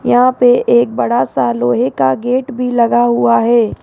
यहां पे एक बड़ा सा लोहे का गेट भी लगा हुआ है।